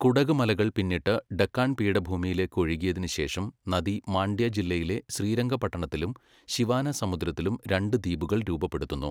കുടക് മലകൾ പിന്നിട്ട് ഡെക്കാൻ പീഠഭൂമിയിലേക്ക് ഒഴുകിയതിനുശേഷം നദി മാണ്ഡ്യ ജില്ലയിലെ ശ്രീരംഗപട്ടണത്തിലും ശിവാനസമുദ്രത്തിലും രണ്ട് ദ്വീപുകൾ രൂപപ്പെടുത്തുന്നു.